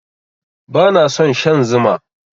Bana son shan Zuma.